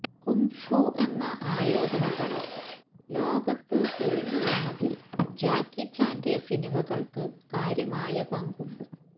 kung fu എന്ന ആയോധനകല ലോകത്ത് തെളിഞ്ഞുവന്നതില് ജാക്കി ചാന്റെ സിനിമകള്ക്ക് കാര്യമായ പങ്കുണ്ട്